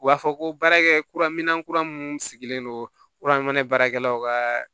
U b'a fɔ ko baarakɛ kura mina kura minnu sigilen don baarakɛlaw ka